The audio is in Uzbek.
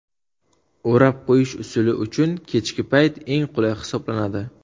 O‘rab qo‘yish usuli uchun kechki payt eng qulay hisoblanadi.